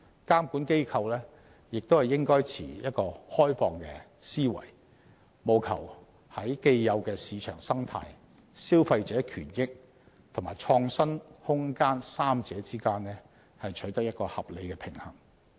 監管機構亦應抱持開放思維，務求在既有的市場生態、消費者權益及創新空間三者之間取得合理平衡。